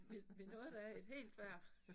Vi vi nåede da et helt hver